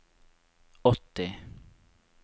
åtti